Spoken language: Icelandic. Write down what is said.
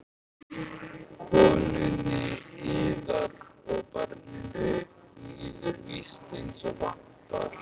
Konunni yðar og barninu líður víst eins og vantar?